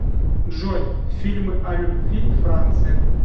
джой фильмы о любви франция